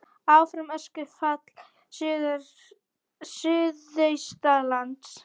Áfram öskufall suðaustanlands